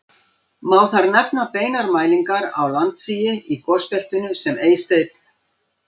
Má þar nefna beinar mælingar á landsigi í gosbeltinu sem Eysteinn